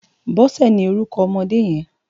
Bose ni órúkò òmòdé yèn